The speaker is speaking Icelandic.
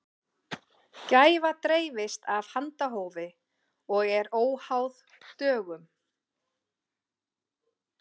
gæfa dreifist af handahófi og er óháð dögum